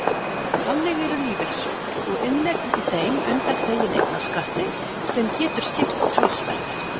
Þannig eru lífeyrissjóðir og inneign í þeim undanþegin eignarskatti sem getur skipt talsverðu.